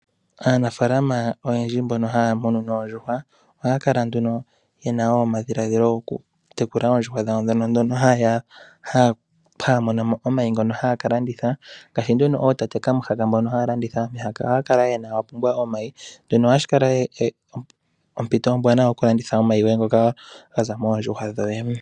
Aanafalama oyendji mbono haya munu oondjuhwa ohaya kala nduno ye na omadhilaadhilo gokutekula oondjuhwa dhawo ndhono haya mono mo omayi ngono haya ka landitha. Ngaashi ootate kamuhaka mbono haya landitha omihaka. Ohaya kala ya pumbwa omayi shino ohashi kala ompito ombwaanawa yokulanditha omayi ngono ga za moondjuhwa dhoye.